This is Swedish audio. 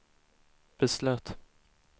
beslöt